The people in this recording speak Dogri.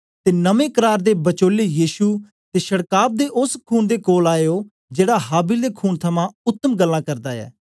ते नमें करार दे बचोले यीशु ते छड़काव दे ओस खून दे कोल आए ओ जेड़ा हाबिल दे खून थमां उत्तम गल्लां करदा ऐ